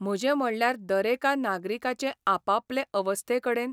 म्हजे म्हणल्यार दरेका नागरिकाचे आपापले अवस्थेकडेन?